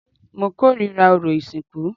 Mo kórìíra orò ìsìnkú